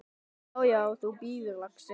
Já, já. þú bíður, lagsi!